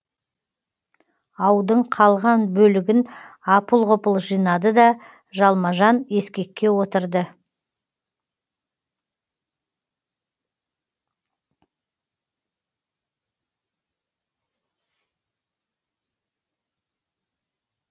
аудың қалған бөлігін апыл ғұпыл жинады да жалма жан ескекке отырды